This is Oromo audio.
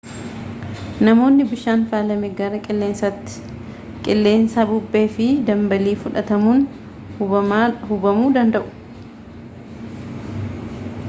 namootni bishaan faalame gara qilleensaatti qilleensa bubbee fi dambaliin fudhatamuun hubamuu danda'u